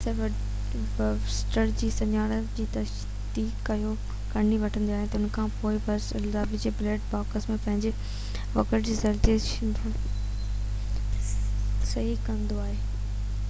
officer voter جي سڃاڻپ جي تصديق ڪري وٺندو آهي ته انکانپوءِ ووٽر لفافي کي بيلٽ باڪس ۾ وجهي ووٽنگ رول تي صحيح ڪندو آهي